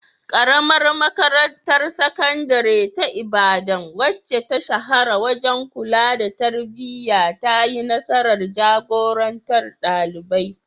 Karamar Makarantar Sakandare ta Ibadan, wacce ta shahara wajen kula da tarbiyya, ta yi nasarar jagorantar ɗalibai.